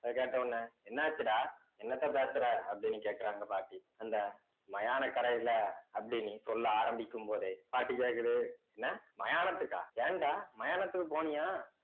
அத கேட்ட உடனே என்னாச்சுடா என்னத்த பேசுற அப்படின்னு கேட்குறாங்க பாட்டி அந்த மயானக் கரையில அப்படின்னு சொல்ல ஆரம்பிக்கும் போதே பாட்டி கேட்குது என்ன மயானத்துக்கா ஏன்டா மயானத்துக்கு போனியா